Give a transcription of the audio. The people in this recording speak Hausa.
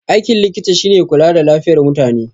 Aikin likita shine kula da lafiyar mutane